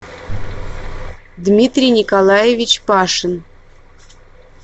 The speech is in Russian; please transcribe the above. дмитрий николаевич пашин